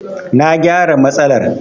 Na gyara matsalar.